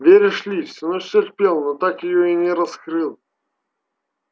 веришь ли всю ночь терпел но так её и не раскрыл